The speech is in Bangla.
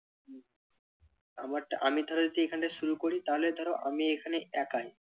আমারটা আমি ধরো যদি এখানে শুরু করি তাহলে ধরো আমি এখানে একাই